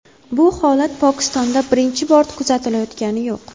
Bu holat Pokistonda birinchi bor kuzatilayotgani yo‘q.